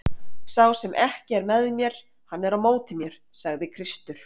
Sá sem ekki er með mér hann er á móti mér, sagði Kristur.